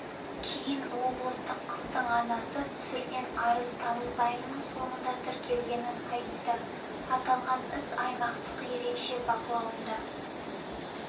кейін облыстық қыздың анасы түсірген арыз тамыз айының соңында тіркелгенін айтты аталған іс аймақтық ерекше бақылауында